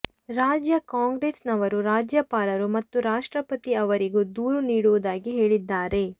ರಾಜ್ಯ ಕಾಂಗ್ರೆಸ್ ನವರು ರಾಜ್ಯಪಾಲರು ಮತ್ತು ರಾಷ್ಟ್ರಪತಿ ಅವರಿಗೂ ದೂರು ನೀಡುವುದಾಗಿ ಹೇಳಿದ್ದಾರೆ